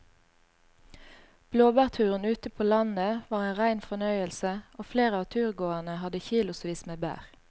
Blåbærturen ute på landet var en rein fornøyelse og flere av turgåerene hadde kilosvis med bær.